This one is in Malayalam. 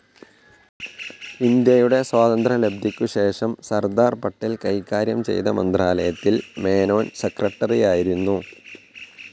ഇന്ത്യയുടെ സ്വാതന്ത്ര്യലബ്ധിക്കുശേഷം സർദാർ പട്ടേൽ കൈകാര്യം ചെയ്ത മന്ത്രാലയത്തിൽ മേനോൻ സെക്രട്ടറിയായിരുന്നു.